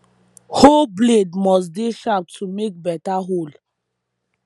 hoe blade must dey sharp to make beta hole